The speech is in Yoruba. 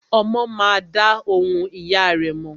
Ọmọ má a dá ohùn ìyá rẹ̀ mọ̀.